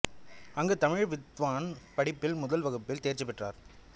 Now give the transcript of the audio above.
அங்கு தமிழ் வித்வான் படிப்பில் முதல் வகுப்பில் தேர்ச்சி பெற்றார்